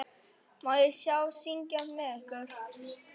Má ég syngja með ykkur?